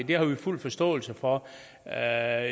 det har vi fuld forståelse for jeg er